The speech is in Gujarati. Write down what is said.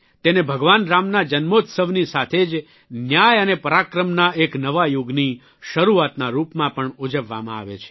તેને ભગવાન રામના જન્મોત્સવની સાથે જ ન્યાય અને પરાક્રમના એક નવા યુગની શરૂઆતના રૂપમાં પણ ઉજવવામાં આવે છે